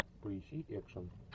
поищи экшн